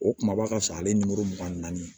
O kumaba ka sɔrɔ ale nimoro mugan ni naani